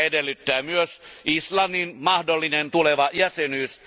Tätä edellyttää myös Islannin mahdollinen tuleva jäsenyys.